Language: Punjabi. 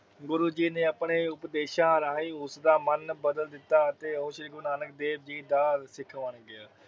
ਗੁਰੂ ਜੀ ਨੇ ਆਪਣੇ ਉਪਦੇਸ਼ਾ ਰਾਹੀਂ ਉਸਦਾ ਮਨ ਬਦਲ ਦਿਤਾ ਅਤੇ ਉਹ ਗੁਰੂ ਨਾਨਕ ਦੇਵ ਜੀ ਦਾ ਸਿੱਖ ਬਣ ਗਿਆ।